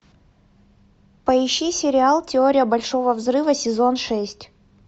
поищи сериал теория большого взрыва сезон шесть